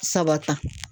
Saba ta